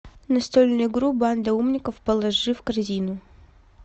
настольную игру банда умников положи в корзину